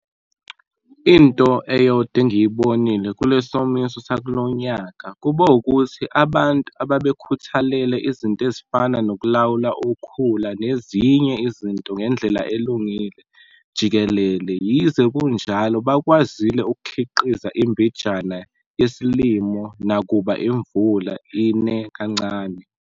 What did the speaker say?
Into eyodwa engiyibonile kule somiso sakulo nyaka kube ukuthi ababntu ababekhuthalele izinto ezifana nokulawula ukhula nezinye izinto ngendlela elungile jikelele yize kunjalo bakwazile ukukhiqiza imbijana yesilimo nakuba imvula ine kancane.